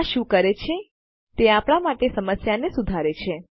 આ શું કરે છે તે આપણાં માટે આ સમસ્યા સુધારે છે